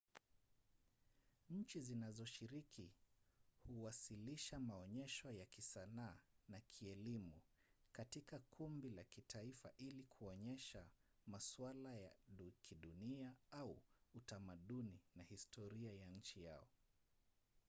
nchi zinazoshiriki huwasilisha maonyesho ya kisanaa na kielimu katika kumbi za kitaifa ili kuonyesha masuala ya kidunia au utamaduni na historia ya nchi yao